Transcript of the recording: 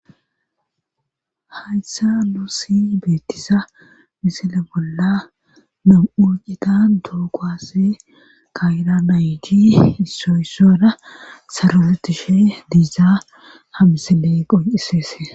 Hayssa nuusi beettisa misile bolla nam'u citan dookoaase kayira nayiti issoyssora saroretishe diizzaa hamsile qonciseese.